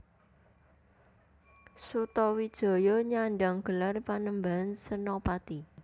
Sutawijaya nyandang gelar Panembahan Senapati